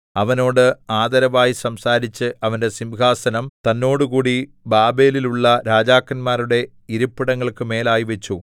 അവനോട് ആദരവായി സംസാരിച്ച് അവന്റെ സിംഹാസനം തന്നോട് കൂടി ബാബേലിൽ ഉള്ള രാജാക്കന്മാരുടെ ഇരിപ്പിടങ്ങൾക്കു മേലായി വച്ചു